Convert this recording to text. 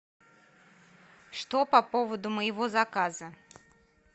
что по поводу моего заказа